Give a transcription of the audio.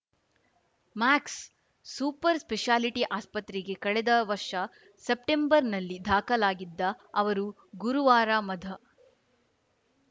Max super speciality ಆಸ್ಪತ್ರೆಗೆ ಕಳೆದ ವರ್ಷ ಸೆಪ್ಟೆಂಬರ್‌ನಲ್ಲಿ ದಾಖಲಾಗಿದ್ದ ಅವರು ಗುರುವಾರ ಮಧ